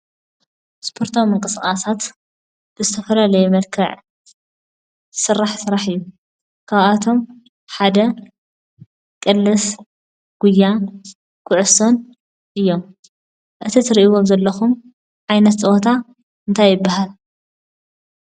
እስፖርታዊ ምንቅስቃሳት ዝተፈላለዩ መልክዕ ዝስራሕ ስራሕ እዩ፡፡ ካብኣቶም ሓደ ቅልስ፣ ጉያን ኩዕሶን እዮም፡፡ እዚ እትርእይው ዘለኩም ዓይነት ፀወታ እንታይ ይባሃል?